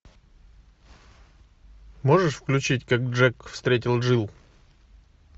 можешь включить как джек встретил джилл